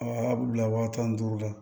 A y'a bila waa tan ni duuru la